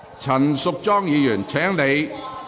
陳淑莊議員，請坐下。